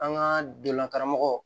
An ka donna karamɔgɔ